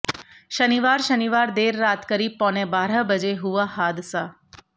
शनिवार शनिवार देर रात करीब पौने बारह बजे हुआ हादसा